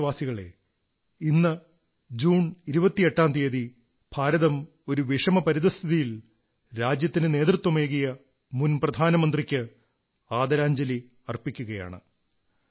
പ്രിയപ്പെട്ട ദേശവാസികളേ ഇന്ന് ജൂൺ 28 ന് ഭാരതം ഒരു വിഷമപരിതഃസ്ഥിതിയിൽ രാജ്യത്തിന് നേതൃത്വമേകിയ മുൻ പ്രധാനമന്ത്രിക്ക് ആദരാഞ്ജലി അർപ്പിക്കയാണ്